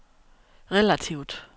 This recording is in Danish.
relativt